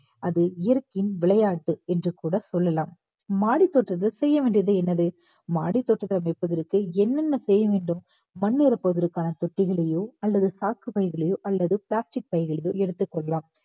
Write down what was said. அது இயற்கையின் விளையாட்டு என்று கூட சொல்லலாம் மாடித்தோட்டத்தில் செய்ய வேண்டியது என்னது. மாடித்தோட்டம் வைப்பதற்கு என்னென்ன செய்ய வேண்டும் மண் இருப்பதற்கான தொட்டிகளையோ அல்லது சாக்கு பைகளையோ அல்லது plastic பைகளையோ எடுத்துக் கொள்ளலாம்